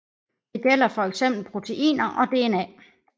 Det gælder for eksempel proteiner og DNA